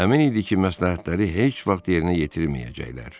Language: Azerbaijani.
Əmin idi ki, məsləhətləri heç vaxt yerinə yetirməyəcəklər.